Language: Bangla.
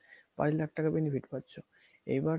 আড়াই লাখ টাকা benefit পাচ্ছ এইবার